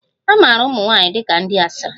A maara ụmụ nwanyị dị ka ndi asịrị